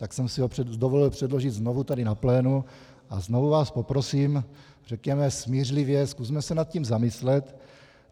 Tak jsem si ho dovolil předložit znovu tady na plénu a znovu vás poprosím, řekněme smířlivě, zkusme se nad tím zamyslet.